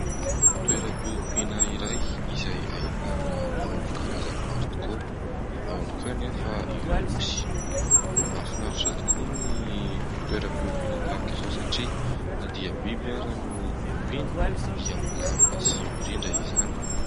Toeram-piompiana iray, izay ahitana omby karazany maro tokoa, ao ihany koa anefa ireo osy . Mahafinaritra tokoa ny toera-piompiana tahaka izao satria na dia biby ary no ompiana dia milamina sy mirindra izany.